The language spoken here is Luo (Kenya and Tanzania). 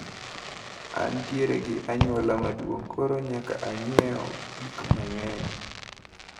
Antiere gi anyuola maduong` koro nyaka anyiew gikmang`eny.